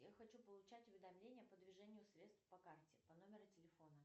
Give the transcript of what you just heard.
я хочу получать уведомления по движению средств по карте по номеру телефона